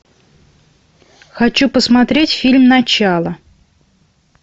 хочу посмотреть фильм начало